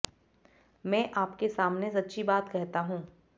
मैं आपके सामने सच्ची बात कहता हूँ